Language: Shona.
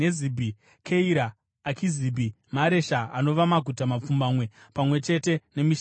Keira, Akizibhi, Maresha anova maguta mapfumbamwe pamwe chete nemisha yawo.